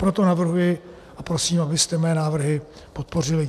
Proto navrhuji a prosím, abyste mé návrhy podpořili.